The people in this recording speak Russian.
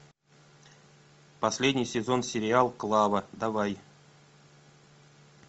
последний сезон сериал клава давай